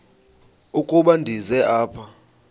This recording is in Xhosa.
ukuba ndize apha